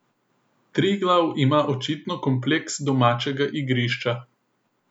Triglav ima očitno kompleks domačega igrišča.